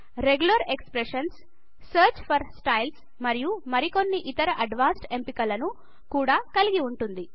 regular expressions search for styles మరియు మరికొన్ని ఇతర అడ్వాన్స్డ్ ఎంపికలను కుడా కలిగి వుంది